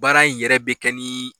Baara in yɛrɛ bɛ kɛ ni